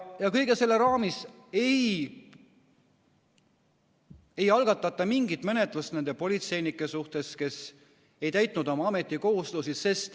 Ja kõige selle raames ei algatata mingit menetlust nende politseinike suhtes, kes ei täitnud oma ametikohustusi.